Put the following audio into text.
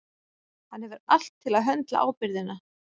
Hann hefur allt til að höndla ábyrgðina.